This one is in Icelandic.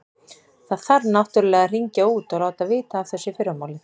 Það þarf náttúrlega að hringja út og láta vita af þessu í fyrramálið.